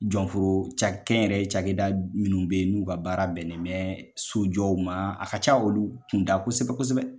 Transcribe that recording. Jɔnforo cakɛ kɛ nyɛrɛ ye cakɛda minnu be yen n'u ka baara bɛnnen bɛ sojɔw ma, a ka ca olu kunda kosɛbɛ kosɛbɛ